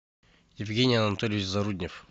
евгений анатольевич заруднев